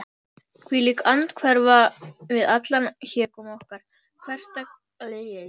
hvílík andhverfa við allan hégóma okkar hversdagslegu annsemdar!